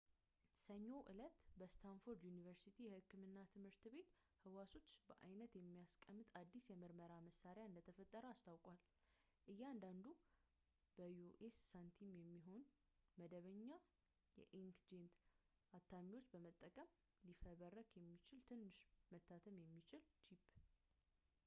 ሰኞ እለት፣ በስታንፎርድ ዩኒቨርሲቲ የህክምና ትምህርት ቤት ህዋሶችን በአይነት የሚያስቀምጥ አዲስ የምርመራ መሳሪያ እንደተፈጠረ አስታውቋል፡ እያንዳንዱን በአንደ የዩ.ኤስ ሳንቲም የሚሆን መደበኛ የኢንክጄት አታሚዎችን በመጠቀም ሊፈበረክ የሚችል ትንሽ መታተም የሚችል ቺፕ